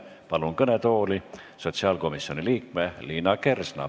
Palun kõnetooli sotsiaalkomisjoni liikme Liina Kersna.